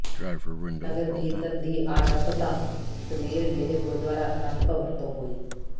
ਨਗਰ ਕੀਰਤਨ ਦੀ ਆਰੰਭਤਾ ਸਵੇਰ ਵੇਲੇ ਗੁਰਦੁਆਰਾ ਅਨੰਦ ਭਵਨ ਤੋਂ ਹੋਈ